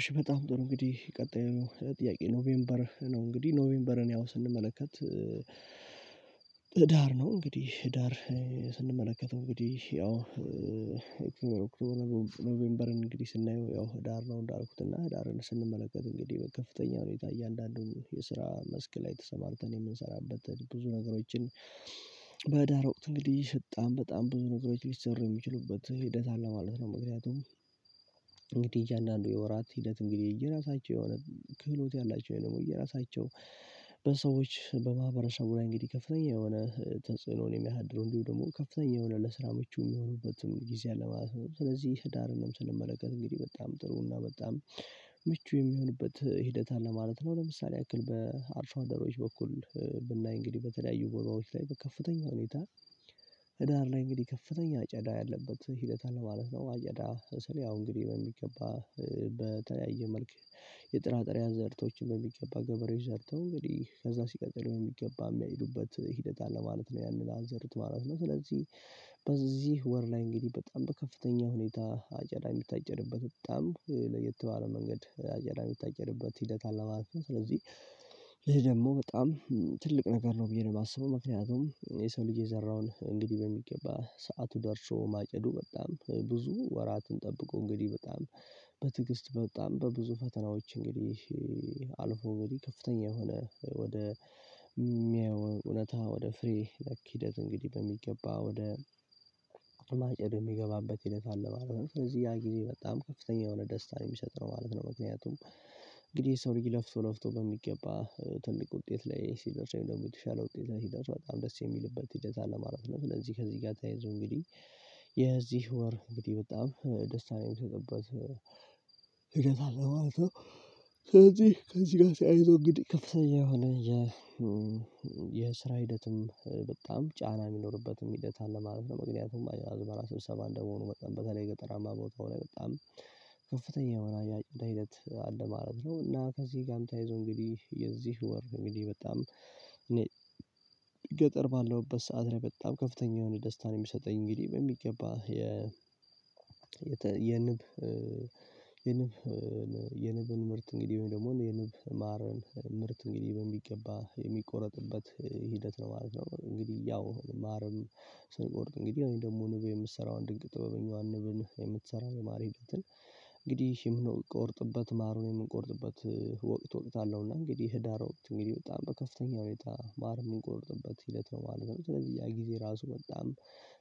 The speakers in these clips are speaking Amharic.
እሺ በጣም ጥሩ እንግዲህ ቀጣይ ነው ጥያቄ ኖቬምበር ነው እንግዲህ ኖቬምበርን ያው ስንመለከት ህዳር ነው እንግዲህ ህዳር ስንመለከተው እንግዲህ ያው እንግዲህ ነው ኖቬምበርን እንግዲህ ስናየው ያው ህዳር ነው እንዳልኩት እና ህዳርን ስንመለከት እንግዲህ ከፍተኛ ሁኔታ እያንዳንዱን የስራ መስክ ላይ ተሰማርተን የምንሰራበት ብዙ ነገሮችን በዳ ህዳር ወቅት እንግዲህ በጣም በጣም ብዙ ነገሮች ሊሰሩ የሚችሉበት ሂደት አለ ማለት ነው። ምክንያቱም እንግዲህ እያንዳንዱ የወራት ሂደት እንግዲህ እየራሳቸው የሆነ ክህሎት ያላቸው ወይ ደግሞ የራሳቸው በሰዎች በማህበረሰቡ ላይ እንግዲህ ከፍተኛ የሆነ ተጽዕኖን የሚያሳድረው እንዲሁ ደግሞ ከፍተኛ የሆነ ለስራ ምቹ የሚሆኑበትም ጊዜ አለ ማለት ነው። ስለዚህ ህዳርንም ስንመለከት እንግዲህ በጣም ጥሩ እና በጣም ምቹ የሚሆንበት ሂደት አለ ማለት ነው ለምሳሌ ያክል በአርሶ አደሮች በኩል ብናይ እንግዲህ በተለያዩ ጎልማዎች ላይ በከፍተኛ ሁኔታ ህዳር ላይ እንግዲህ ከፍተኛ አጨዳ ያለበት ሂደት አለ ማለት ነው አጨዳ ስል ያው እንግዲህ በሚገባ በተለያየ መልኩ የጥራጥሬ አዘርቶችን በሚገባ ገበሬ ዘርተው እንግዲህ ከዛ ሲቀጥል የሚገባ የሚያሄዱበት ሂደት አለ ማለት ነው ያንን አዘርት ማለት ነው ስለዚህ በዚህ ወር ላይ እንግዲህ በጣም በከፍተኛ ሁኔታ አጨዳ የሚታጨርበት በጣም ለየት ባለ መንገድ አጨዳ የሚታጨድበት ሂደት አለ ማለት ነው ስለዚህ ይሄ ደግሞ በጣም ትልቅ ነገር ነው ብዬ ነው የማስበው ምክንያቱም የሰው ልጄ የዘራውን እንግዲህ በሚገባ ሰዓቱ ደርሾ ማጨዱ በጣም ብዙ ወራትን ጠብቆ እንግዲህ በጣም በትግስት በጣም በብዙ ፈተናዎች እንግዲህ አልፎ እንግዲህ ከፍተኛ የሆነ ወደ የሚያየው እውነታ ወደ ፍሬ ነክ ሂደት እንግዲህ በሚገባ ወደ ማጨድ የሚገባበት ሂደት አለ ማለት ነው ሰለዚህ ያ ጊዜ በጣም ከፍተኛ የሆነ ደስታን የሚሰጥ ነው ማለት ነው። ምክንያቱም እንግዲህ ሰው ልጅ ለፍቶ ለፍቶ በሚገባ ትልቅ ውጤት ላይ ሲደርስ ወይም ደግሞ የተሻለ ውጤት ላይ ሲደርስ በጣም ደስ የሚልበት ሄደት አለ ማለት ነው ስለዚህ ከዚህ ጋ ተያይዞ እንግዲህ የዚህ ወር እንግዲህ በጣም ደስታን የምሰጥበት ህደት አለው ማለት ነው ስለዚህ ከዚህ ጋር ቸያይዞ እንግዲህ ከፍተኛ የሆነ የ የስራ ሂደትም በጣም ጫና የሚኖርበትም ሂደት አለ ማለት ነው። ምክንያቱም አዝመራ ስብሰባ ስ እንደመሆኑ መጠን በተለይ ገጠራማ ቦታው ላይ በጣም ከፍተኛ የሆነ ሂደት አለ ማለት ነው እና ከዚህ ጋም ተይዞ እንግዲህ የዚህ ወር እንግዲህ በጣም እኔ ገጠር ባለውበት ሰዓት ላይ በጣም ከፍተኛ የሆነ ደስታን የሚሰጠኝ እንግዲህ በሚገባ የ የንብ የንብ የንብ ምርት እንግዲህ ወይም ደግሞ የንብ ማርን ምርት እንግዲህ በሚገባ የሚቆረጥበት ሂደት ነው ማለት ነው እንግዲህ ያው ማርም ስንቆርጥ እንግዲህ ወይም ደግሞ ንብ የምሰራውን ድንቅ ጥበበኛዋን ንብን የምትሰራውን ማር እንግዲህ ምን የምንቆርጥበት ማሩን የምንቆርጥበት ወቅት ወቅት አለው እና እንግዲህ ህዳር ወቅት እንግዲህ በጣም በከፍተኛ ሁኔታ ማር የሚቆርጥበት ህደት ነው ማለት ነው ስለዚህ ያ ጊዜ ራሱ በጣም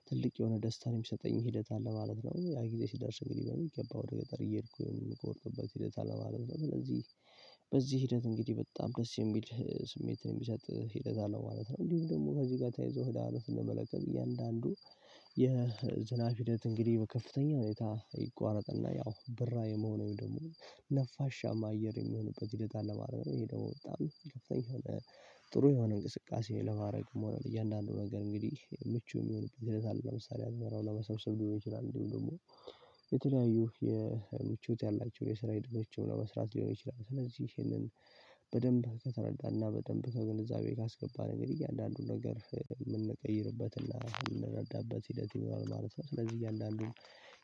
ትልቅ የሆነ ደስታን የሚሰጠኝ ሂደት አለ ማለት ነው። ያ ጊዜ ሲደርስ እንግዲህ በሚገባው ደጋጋሪ እየሄድኩኝ ነው የምቆርጥበት ሂደት አለ ማለት ነው ስለዚህ በዚህ ሂደት እንግዲህ በጣም ደስ የሚል ስሜትን የሚሰጥ ህደት አለ ማለት ነው እንዲሁም ደግሞ ከዚህ ጋር ተይዞ ለሀላፊነት እንመለከት እያንዳንዱ የዝናብ ሂደት እንግዲህ ከፍተኛ ሁኔታ ይቋረጥና ያው ብራ የመሆኔው ደግሞ ነፋሻማ አየር የሚሆንበት ሂደት አለ ማለት ነው ይሄ ደግሞ በጣም ከፍተኛ የሆነ ጥሩ የሆነ እንቅስቃሴ ለማረግ መሆን እያንዳንዱ ነገር እንግዲህ ምቹ የሚሆን እግዚአብሔር ለምሳሌ አዝመራው ለመሰብሰብ ልሆን ይችላል እንዲሁም ደግሞ የተለያዩ የምቹት ያላቸውን የሰራዊት ድርጅቶች መስራት ሊሆን ይችላል ስለዚህ ይሄንን በደንብ ከተረዳና በደንብ ከግንዛቤ ካስገባን እንግዲህ እያንዳንዱን ነገር የምንቀይርበትና የምንረዳበት ሂደት ይኖራል ማለት ነው። ስለዚህ እያንዳንዱ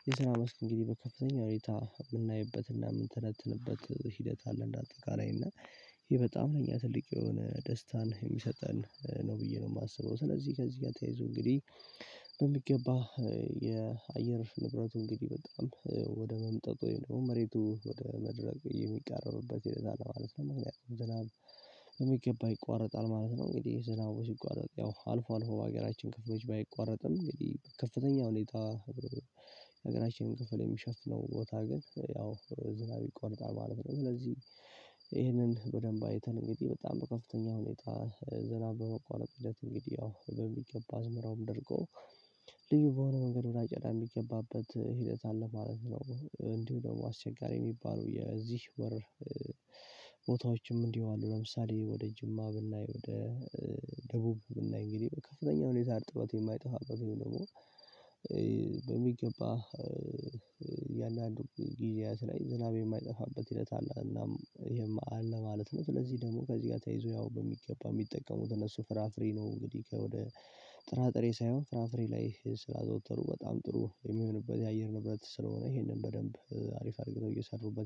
የሰላም እስኪንግዲህ በከፍተኛ ሁኔታ የምናይበትና የምንተነትንበት ሂደት አለ እንደ አጠቃላይ አና ይሄ በጣም ለኛ ትልቅ የሆነ ደስታን የሚሰጠን ነው ብዬ ነው የማስበው ስለዚህ ከዚህ ጋር ተያይዞ እንግዲህ በሚገባ የአየር ንብረት እንግዲህ በጣም ወደ መምጠጥ ወይም ደግሞ መሬቱ ወደ መድረቅ የሚቀረብበት ስለዛ ነው ማለት ነው ምክንያቱም ዝናብ የሚገባ ይቋረጣል ማለት ነው እንግዲህ ዝናብ ሲቋረጥ ያው አልፎ አልፎ በሀገራችን ክፍሎች ባይቋረጥም እንግዲህ ከፍተኛ ሁኔታ ሀገራችንን ክፍል የሚሸፍነው ቦታ ግን ያው ዝናብ ይቋረጣል ማለት ነው። ስለዚህ ይሄንን በደንብ አይተን እንግዲህ በጣም በከፍተኛ ሁኔታ ዝናብ በመቋረጥ ህደት እንግዲህ ያው በሚገባ አዝመራውም ደርቆ ልጅ በሆነ መንገድ ብላ ጨላ የሚገባበት ሂደት አለ ማለት ነው። እንዲሁ ደግሞ አስቸጋሪ የሚባለው የዚህ ወር ቦታዎችም እንዲህ አሉ ለምሳሌ ወደ ጅማ ብናይ ወደ ደቡብ ብናይ እንግዲህ ከፍተኛ ሁኔታ አርጥበት የማይጠፋበት ወይም ደግሞ በሚገባ እያንዳንዱ ጊዜያት ላይ ዝናብ የማይጠፋበት ሂደት አለ እናም ይሄንም አለ ማለት ነው። ስለዚህ ደግሞ ከዚህ ጋር ተያይዞ ያው በሚገባ የሚጠቀሙት እነሱ ፍራፍሬ ነው እንግዲህ ከወደ ጥራጥሬ ሳይሆን ፍራፍሬ ላይ ስላዘወተሩ በጣም ጥሩ የሚሆንበት የአየር ንብረት ስለሆነ ይሄንን በደንብ አሪፍ አድርገን እየሰሩበት